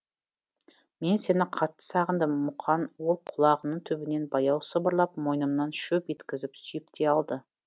мен сені қатты сағындым муқан ол құлағымның түбінен баяу сыбырлап мойнымнан шөп еткізіп сүйіп те алды